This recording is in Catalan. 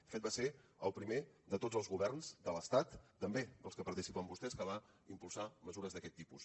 de fet va ser el primer de tots els governs de l’estat també dels que hi participen vostès que va impulsar mesures d’aquest tipus